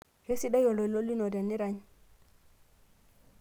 keisidai oltoilo lino tenirany